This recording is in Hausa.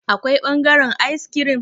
Akwai bangaren ayis kirim?